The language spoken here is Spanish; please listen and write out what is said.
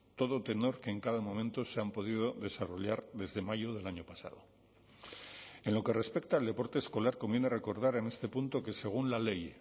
todo tenor que en cada momento se han podido desarrollar desde mayo del año pasado en lo que respecta al deporte escolar conviene recordar en este punto que según la ley